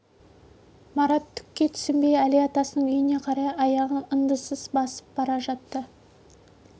марат түкке түсінбей әли атасының үйіне қарай аяғын ыңдынсыз басып бара жатты